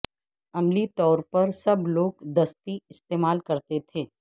عملی طور پر سب لوگ دستی استعمال کرتے تھے